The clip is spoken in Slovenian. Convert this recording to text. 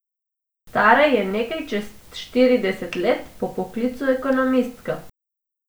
Stara je nekaj čez štirideset let, po poklicu ekonomistka.